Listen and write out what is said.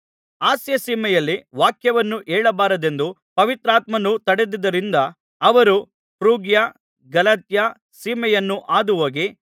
ಆಸ್ಯಸೀಮೆಯಲ್ಲಿ ವಾಕ್ಯವನ್ನು ಹೇಳಬಾರದೆಂದು ಪವಿತ್ರಾತ್ಮನು ತಡೆದ್ದುದರಿಂದ ಅವರು ಫ್ರುಗ್ಯ ಗಲಾತ್ಯ ಸೀಮೆಯನ್ನು ಹಾದುಹೋಗಿ